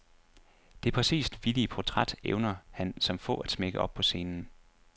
Det præcist vittige portræt evner han som få at smække op på scenen.